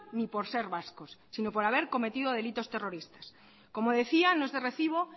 ni por ser vascos sino por haber cometido delitos terroristas como decía no es de recibo